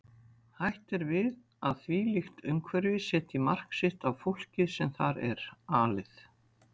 Hætt er við að þvílíkt umhverfi setji mark sitt á fólkið sem þar er alið.